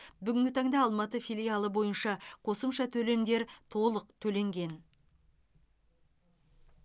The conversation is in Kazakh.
бүгінгі таңда алматы филиалы бойынша қосымша төлемдер толық төленген